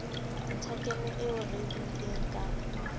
nthakemo eo re buileng ka